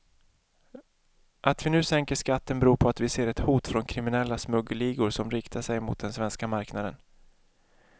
Att vi nu sänker skatten beror på att vi ser ett hot från kriminella smuggelligor som riktar sig mot den svenska marknaden.